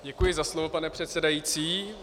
Děkuji za slovo, pane předsedající.